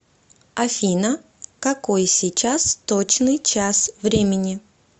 афина какой сейчас точный час времени